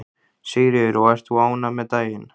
Sigríður: Og ert þú ánægð með daginn?